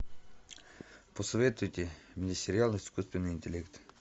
посоветуйте мне сериал искусственный интеллект